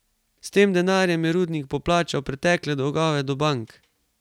S tem denarjem je rudnik poplačal pretekle dolgove do bank.